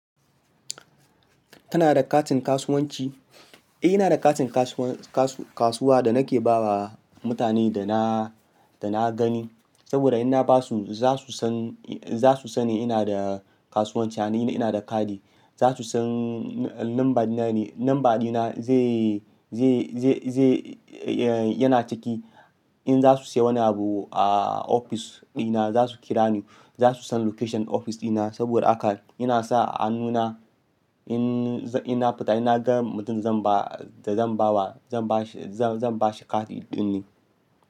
Tana da katin kasuwanci? Eh, ina da katin kasuwa da nake bawa mutanen da na, da na gani. Saboda in na basu za su san, za su san ina da kasuwanci, ina da kadi. Za su san nambana ne, namba dina zai, zai, zai, yana ciki. In za su siya wani abu a ofis dina, za su kira ni. Za su san location ofis dina. Saboda haka yana sa hannuna in na fita in na ga mutum da zan ba, da zan ba wa, zan ba shi, zan ba shi kati ɗin ne.